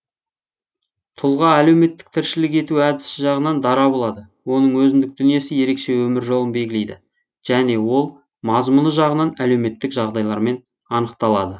тұлға әлеуметтік тіршілік ету әдісі жағынан дара болады оның өзіндік дүниесі ерекше өмір жолын белгілейді және ол мазмұны жағынан әлеуметтік жағдайлармен анықталады